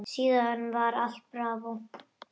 Síðan var allt bravó.